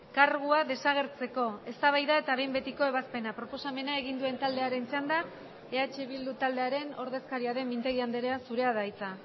kargua desagertzeko eztabaida eta behin betiko ebazpena proposamena egin duen taldearen txanda eh bildu taldearen ordezkaria den mintegi andrea zurea da hitza